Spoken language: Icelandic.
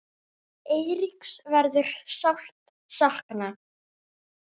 Eiríks verður sárt saknað.